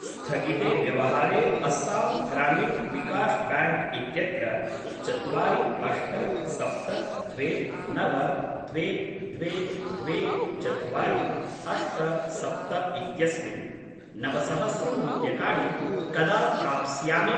स्थगिते व्यवहारे अस्सां ग्रामिन् विकाश् ब्याङ्क् इत्यत्र चत्वारि अष्ट सप्त द्वे नव द्वे द्वे द्वे चत्वारि अष्ट सप्त इत्यस्मिन् नवसहस्रं रूप्यकाणि कदा प्राप्स्यामि?